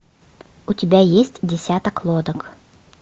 у тебя есть десяток лодок